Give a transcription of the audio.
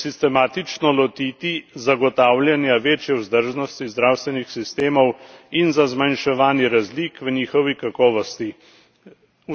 Potrebno se je sistematično lotiti zagotavljanja večje vzdržnosti zdravstvenih sistemov in za zmanjševanje razlik v njihovi kakovosti.